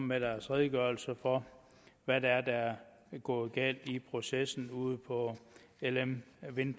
med deres redegørelse for hvad det er der er gået galt i processen ude på lm wind